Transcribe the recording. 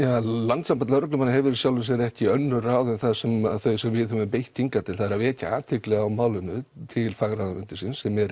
landssamband lögreglumanna hefur í sjálfu sér ekki önnur ráð en þau sem þau sem við höfum beitt hingað til það er að vekja athygli á málinu til fagráðuneytisins sem er